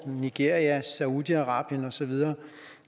nigeria saudi arabien og så videre